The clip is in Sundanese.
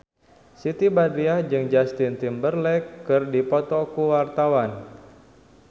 Siti Badriah jeung Justin Timberlake keur dipoto ku wartawan